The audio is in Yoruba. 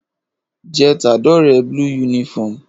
je t'adore blue uniform